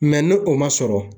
ni o ma sɔrɔ